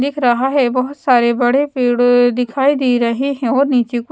दिख रहा है बहोत सारे बड़े पेड़ दिखाई दे रहे हैं और नीचे क--